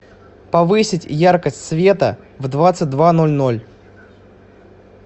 повысить яркость света в двадцать два ноль ноль